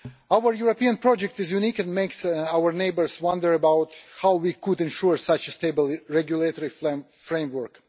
Our European project is unique and makes our neighbours wonder about how we ensure such a stable regulatory framework.